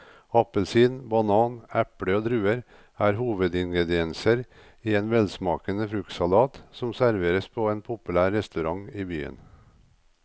Appelsin, banan, eple og druer er hovedingredienser i en velsmakende fruktsalat som serveres på en populær restaurant i byen.